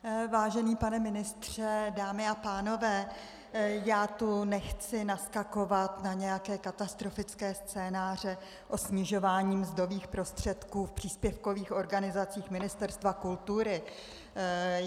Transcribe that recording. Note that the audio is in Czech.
Vážený pane ministře, dámy a pánové, já tu nechci naskakovat na nějaké katastrofické scénáře o snižování mzdových prostředků v příspěvkových organizacích Ministerstva kultury.